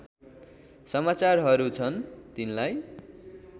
समाचारहरू छन् तिनलाई